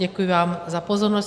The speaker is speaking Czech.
Děkuji vám za pozornost.